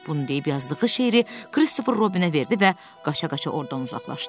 Bunu deyib yazdığı şeiri Christopher Robinə verdi və qaça-qaça ordan uzaqlaşdı.